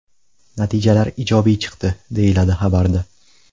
Natijalar ijobiy chiqdi”, deyiladi xabarda.